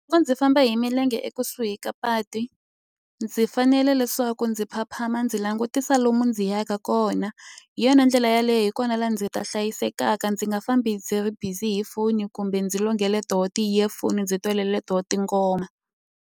ndzi famba hi milenge ekusuhi ka patu ndzi fanele leswaku ndzi phamaphama ndzi langutisa lomu ndzi yaka kona. Hi yona ndlela yaleyo hi kona laha ndzi ta hlayisekaka, ndzi nga fambi ndzi ri bizi hi foni kumbe ndzi tona ti-earphone-i ndzi tona tinghoma.